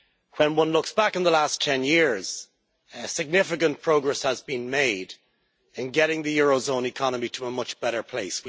When one looks back at the last 10 years, significant progress has been made in getting the eurozone economy to a much better place.